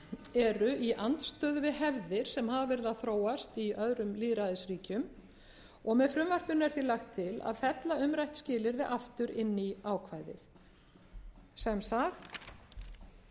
eru í andstöðu við hefðir sem hafa verið að þróast í öðrum lýðræðisríkjum með frumvarpinu er því lagt til að fella umrætt skilyrði aftur inn í ákvæðið sem sagt